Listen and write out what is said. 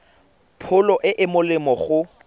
pholo e e molemo go